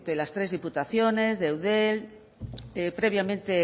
las tres diputaciones de eudel previamente